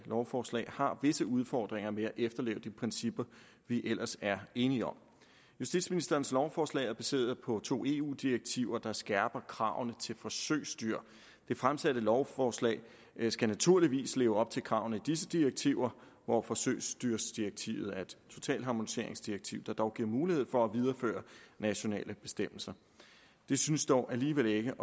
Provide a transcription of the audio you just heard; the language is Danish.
lovforslag har visse udfordringer med at efterleve de principper vi ellers er enige om justitsministerens lovforslag er baseret på to eu direktiver der skærper kravene til forsøgsdyr det fremsatte lovforslag skal naturligvis leve op til kravene i disse direktiver og forsøgsdyrsdirektivet er et totalharmoniseringsdirektiv der dog giver mulighed for at videreføre nationale bestemmelser det synes dog alligevel ikke